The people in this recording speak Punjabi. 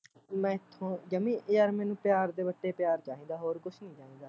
ਮੈਥੋਂ ਜਮੀ ਯਾਰ ਮੈਨੂੰ ਪਿਆਰ ਦੇ ਵੱਟੇ ਪਿਆਰ ਚਾਹੀਦਾ ਹੋਰ ਕੁਸ਼ ਨੀ ਚਾਹੀਦਾ